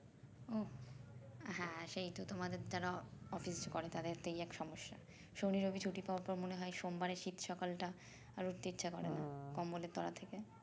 ও হ্যাঁ সেইতো তোমাদের দ্বারা office করে তাদের তো এই এক সমস্যা শনি রবি ছুটি পাওয়ার পর মনে হয় সোমবারের শীত সকালটা আর উঠতে ইচ্ছা করে কম্বলের তলা থেকে